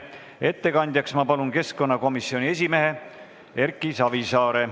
Ettekandjaks palun keskkonnakomisjoni esimehe Erki Savisaare.